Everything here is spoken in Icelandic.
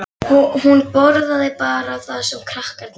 Hún borðaði bara það sem krakkarnir leifðu.